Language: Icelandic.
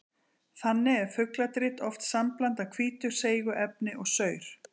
Þannig er fugladrit oft sambland af hvítu seigu efni og saur.